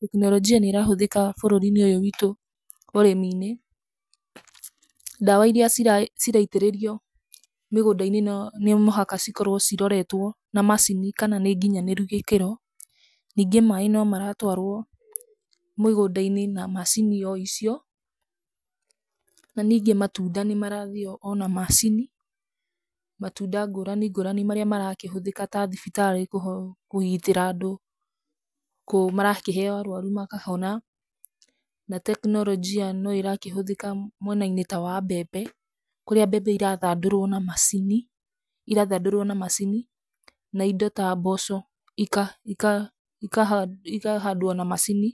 Tekinoronjia nĩ ĩrahũthĩka bũrũri-inĩ ũyũ witũ ũrĩmi-inĩ. Ndawa iria ciraitĩrĩrio mĩgũnda-inĩ no mũhaka cikorwo ciroretwo na macini kana nĩ nginyanĩru gĩkĩro. Ningĩ maaĩ no maratwarwo mĩgũnda-inĩ na macini o icio. Na ningĩ matunda nĩ marathĩo o na macini, matunda ngũrani ngũrani marĩa marakĩhũthĩka ta thibitarĩ kũgitĩra andũ kũu, marakĩhe arũaru makahona. Na tekinoronjia no ĩrakĩhũthĩka mwena-inĩ ta wa mbembe, kũrĩa mbembe irathandũrwo na macini, irathandũrwo na macini na indo ta mboco ika ika ikahandwo na macini.